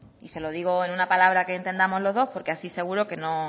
y se lo digo en una palabra que entendamos los dos porque así seguro que